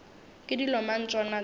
ke dilo mang tšona tše